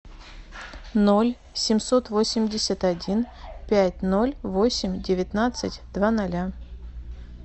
ноль семьсот восемьдесят один пять ноль восемь девятнадцать два ноля